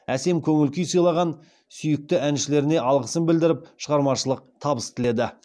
әсем көңіл көңіл күй сыйлаған сүйікті әншілеріне алғысын білдіріп шығармашылық табыс тіледі